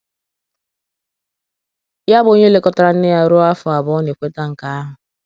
ya, bụ́ onye lekọtara nne ya ruo afọ abụọ, na - ekweta nke ahụ.